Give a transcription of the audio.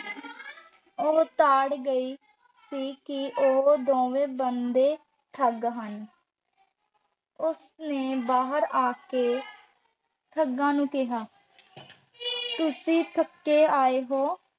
ਉਹ ਤਾੜ ਗਈ ਸੀ ਕਿ ਉਹ ਦੋਵੇਂ ਬੰਦੇ ਠੱਗ ਹਨ ਉਸ ਨੇ ਬਾਹਰ ਆ ਕੇ ਠੱਗਾਂ ਨੂੰ ਕਿਹਾ, ਤੁਸੀਂ ਥੱਕੇ ਆਏ ਹੋ,